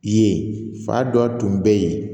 Yen fa dɔ tun bɛ yen